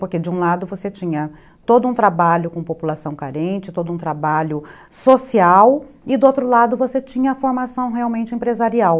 Porque, de um lado, você tinha todo um trabalho com população carente, todo um trabalho social, e, do outro lado, você tinha a formação realmente empresarial.